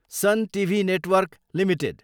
sun TV network Ltd